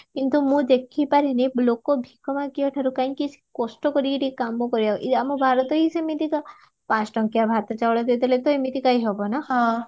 କିନ୍ତୁ ମୁଁ ଦେଖିପାରିନି ଲୋକ ଭିକ ମାଗୋବା ଠାରୁ କାହିଁକି କଷ୍ଟ କରିକି ଟିକେ କମ କରିବା ଆମ ଭାରତ ହି ସେମିତିକା ପଞ୍ଚଟଙ୍କିଆ ଭାତ ଚାଉଳ ଦେଇଦେଲେ ତ ଏମିତି କାହିଁକି ହବ ନାଁ